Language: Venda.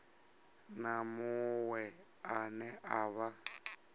na muṅwe ane a vha